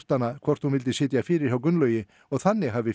hana hvort hún vildi sitja fyrir hjá Gunnlaugi og þannig hafi